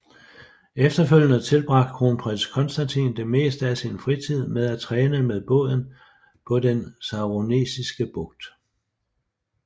Efterfølgende tilbragte kronprins Konstantin det meste af sin fritid med at træne med båden på den Saroniske Bugt